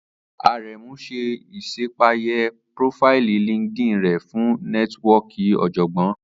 Aremu ṣe iṣapeye profaili LinkedIn rẹ fun nẹtiwọọki ọjọgbọn